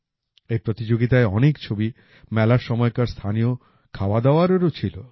এই প্রতিযোগিতায় অনেক ছবি মেলার সময়কার স্থানীয় খাওয়াদাওয়ারেও ছিল